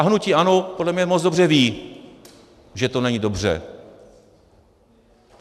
A hnutí ANO podle mě moc dobře ví, že to není dobře.